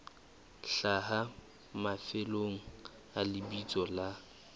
hlaha mafelong a lebitso la